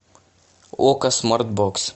окко смартбокс